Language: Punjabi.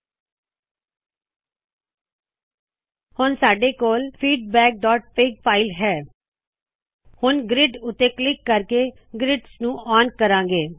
ਹੁਣ ਸਾਡੇ ਕੌਲ feedbackਫਿਗ feedback dot fig file ਹੈ ਹੁਂਣ ਗ੍ਰਿਡਜ਼ ਉਤੇ ਕਲਿੱਕ ਕਰਕੇ ਗ੍ਰਿਡਜ਼ ਨੂੰ ਆਨ ਕਰਾੰ ਗੇ